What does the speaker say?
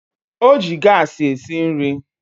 O ji gaasị esi nri